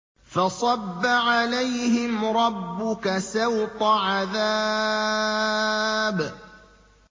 فَصَبَّ عَلَيْهِمْ رَبُّكَ سَوْطَ عَذَابٍ